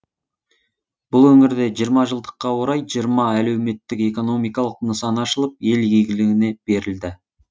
бұл өңірде жиырма жылдыққа орай жиырма әлеуметтік экономикалық нысан ашылып ел игілігіне берілді